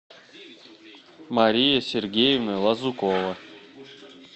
мария сергеевна лазукова